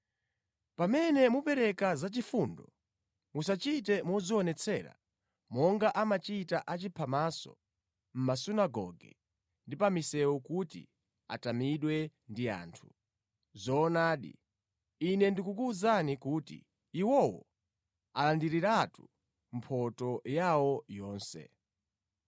“Pamene mupereka zachifundo, musachite modzionetsera monga amachita achiphamaso mʼmasunagoge ndi pa misewu kuti atamidwe ndi anthu. Zoonadi, Ine ndikuwuzani kuti iwowo alandiriratu mphotho yawo yonse.